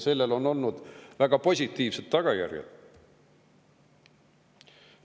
Sellel on olnud väga positiivsed tagajärjed.